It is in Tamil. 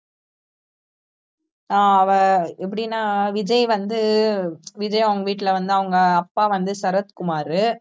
அஹ் அவ எப்படின்னா விஜய் வந்து விஜய் அவங்க வீட்டுல வந்து அவங்க அப்பா வந்து சரத்குமாரு